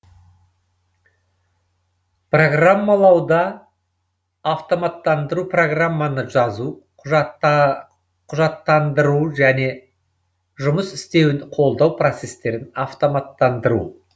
программалауды автоматтандыру программаны жазу құжаттанды ру жөне жұмыс істеуін қолдау процестерін автоматтандыру